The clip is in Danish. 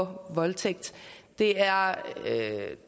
voldtægt det er